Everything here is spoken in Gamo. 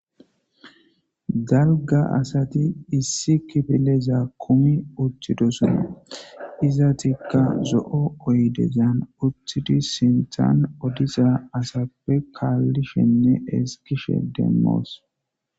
Dalga asati issi kifileza kumi utidosona etika zo'o oyidezan utidi sinthan odiza asa kalishenne ezgishe demo's